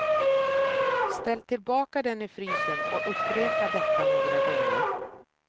Ställ tillbaka den i frysen och upprepa detta några gånger.